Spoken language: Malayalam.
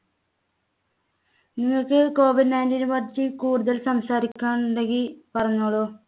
നിങ്ങൾക്ക് COVID nineteen നെ പറ്റി കൂടുതൽ സംസാരിക്കാൻ ഉണ്ടെങ്കി പറഞ്ഞോളൂ.